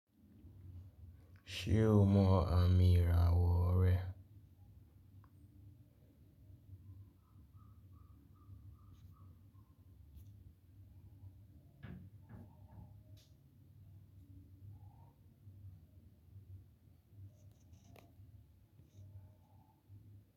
Ṣé o mọ àmì ìràwọ̀ rẹ̀?